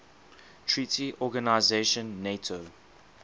treaty organization nato